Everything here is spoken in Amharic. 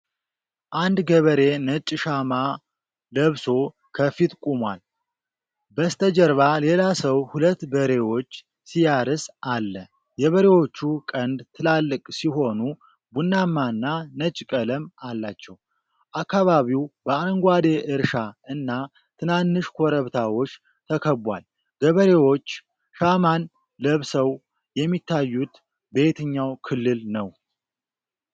አንድ ገበሬ ነጭ ሻማ ለብሶ ከፊት ቆሟል። በስተጀርባ ሌላ ሰው ሁለት በሬዎች ሲያርስ አለ። የበሬዎቹ ቀንድ ትላልቅ ሲሆኑ ቡናማና ነጭ ቀለም አላቸው። አካባቢው በአረንጓዴ እርሻ እና ትናንሽ ኮረብታዎች ተከቧል። ገበሬዎች ሻማን ለብሰው የሚታዩት በየትኛው ክልል ነው?